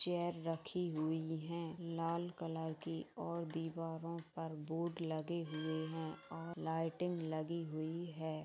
Chair रखी हुई है लाल कलर की और भी वहाँ पर बोर्ड लगे हुए हैं लाइटिंग लगी हुई है।